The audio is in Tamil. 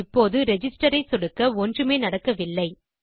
இப்போது ரிஜிஸ்டர் ஐ சொடுக்க ஒன்றுமே நடக்கவில்லை